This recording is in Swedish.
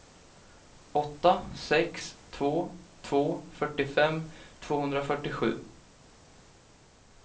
åtta sex två två fyrtiofem tvåhundrafyrtiosju